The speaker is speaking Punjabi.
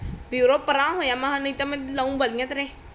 ਵੀ ਪਰਾ ਹੋਜਾ ਨਹੀਂ ਤੋਂ ਮੈਂ